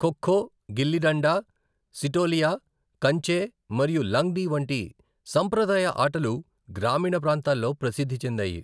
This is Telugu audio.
ఖో ఖో, గిల్లి డండా, సిటోలియా, కంచే మరియు లంగ్డి వంటి సంప్రదాయ ఆటలు గ్రామీణ ప్రాంతాల్లో ప్రసిద్ధి చెందాయి.